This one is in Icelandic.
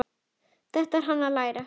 Þetta er hann að læra!